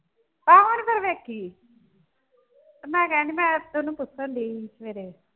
ਆਹੋ ਨਈਂ ਫਿਰ ਵੇਖੀ ਮੈਂ ਕਹਿਣ ਡਈ ਸੀ ਮੈਂ ਕਿਹਾ ਉਸਨੂੰ ਪੁੱਛਣ ਡਈ ਸੀ ਸਵੇਰੇ।